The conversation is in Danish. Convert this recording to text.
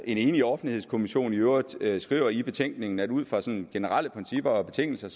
en enig offentlighedskommission i øvrigt skriver i betænkningen nemlig at ud fra sådan generelle principper og betingelser